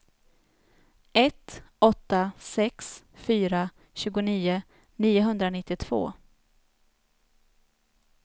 ett åtta sex fyra tjugonio niohundranittiotvå